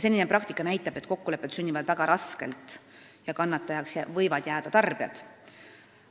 Senine praktika näitab, et kokkulepped sünnivad väga raskelt ja kannatajaks võivad jääda tarbijad.